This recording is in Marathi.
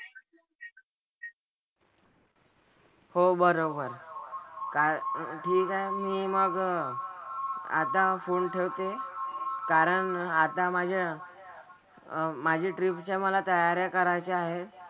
हो बरोबर. काय ठीक आहे मी मग आता फोन ठेवते कारण आता माझ्या अह माझी ट्रिपच्या मला तयाऱ्या करायच्या आहेत.